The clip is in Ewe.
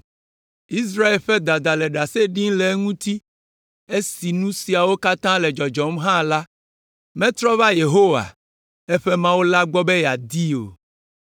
Israel ƒe dada le ɖase dim le eŋuti; esi nu siawo katã le dzɔdzɔm hã la, metrɔ va Yehowa, eƒe Mawu la gbɔ be yeadii o.